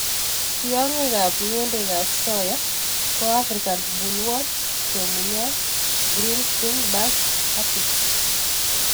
Tiongikab ng'endekab soya ko African bollworm, kemunyot, green stink bug & aphids.